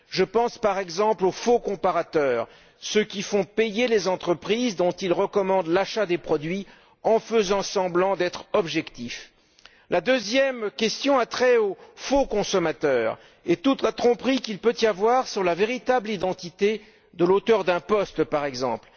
Je pense, par exemple, aux faux comparateurs ceux qui font payer les entreprises dont ils recommandent l'achat des produits en faisant semblant d'être objectifs. La deuxième préoccupation a trait aux faux consommateurs et à toute la tromperie qu'il peut y avoir sur la véritable identité de l'auteur d'un billet affiché sur l'internet, par exemple.